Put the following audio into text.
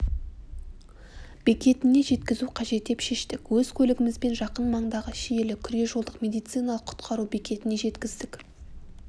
бекетіне жеткізу қажет деп шештік өз көлігімізбен жақын маңдағы шиелі күре-жолдық медициналық құтқару бекетіне жеткіздік